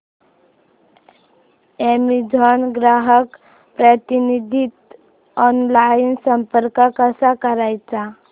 Amazon ग्राहक प्रतिनिधीस online संपर्क कसा करायचा